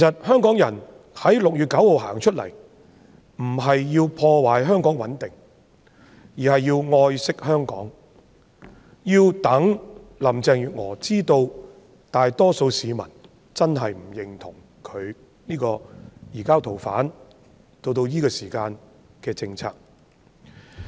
香港人在6月9日走出來並非要破壞香港的穩定，而是愛惜香港，讓林鄭月娥知道大多數市民真的不認同現時的移交逃犯政策。